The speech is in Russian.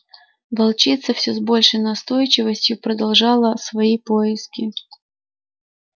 волчица всё с большей настойчивостью продолжала свои поиски